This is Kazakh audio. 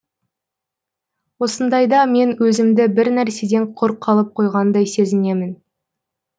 осындайда мен өзімді бір нәрседен құр қалып қойғандай сезінемін